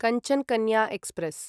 Kanchan Kanya express